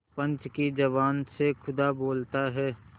पंच की जबान से खुदा बोलता है